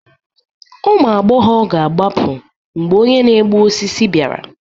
Ụmụ agbọghọ ga-agbapụ mgbe onye na-egbu osisi bịara